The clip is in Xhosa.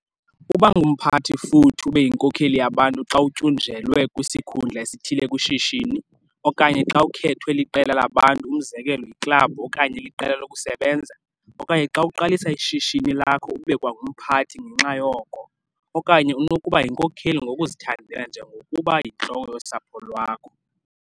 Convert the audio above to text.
Uba ngumphathi futhi ube yinkokeli yabantu xa utyunjelwe kwisikhundla esithile kwishishini, okanye xa ukhethwe liqela labantu, umzekelo yiklabhu okanye liqela lokusebenza, okanye xa uqalisa ishishini lakho ube kwangumphathi ngenxa yoko, okanye unokuba yinkokeli ngokuzithandela njengokuba yintloko yosapho lwakho.